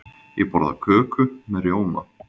Ég borða köku með rjóma.